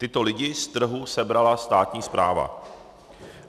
Tyto lidi z trhu sebrala státní správa.